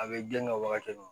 A bɛ gilan ka wagati